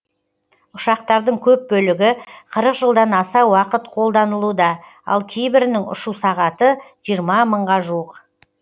ұшақтардың көп бөлігі қырық жылдан аса уақыт қолданылуда ал кейбірінің ұшу сағаты жиырма мыңға жуық